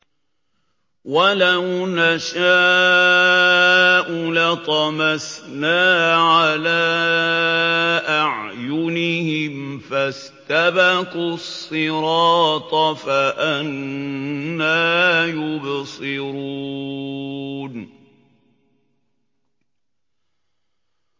وَلَوْ نَشَاءُ لَطَمَسْنَا عَلَىٰ أَعْيُنِهِمْ فَاسْتَبَقُوا الصِّرَاطَ فَأَنَّىٰ يُبْصِرُونَ